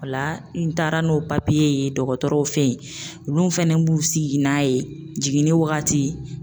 O la n taara n'o papiye ye dɔgɔtɔrɔw fe yen olu fɛnɛ b'u sigi n'a ye jiginni wagati